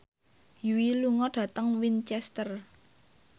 Yui lunga dhateng Winchester